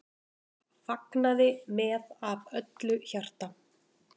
Fagnaði með af öllu hjarta.